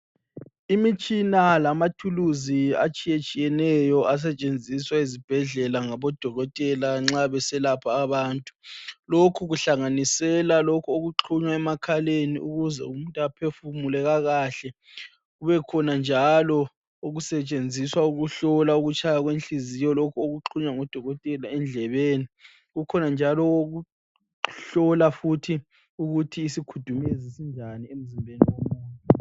Imitshina lamathuluzi atshiyetshiyeneyo asetshenziswa ezibhedlela ngabodokotela nxa beselapha abantu lokhu kuhlanganisela lokhu okuxuma emakhaleni ukuze umuntu aphefumule kakahle kube khona njalo okusetshenziswa ukuhlola ukutshaya kwenhliziyo lokhu okuxunywa ngotokotela endlebeni kukhona njalo okuhlola futhi ukuthi isikhudumezi sinjani emzimbeni yomuntu.